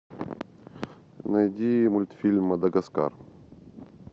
найди мультфильм мадагаскар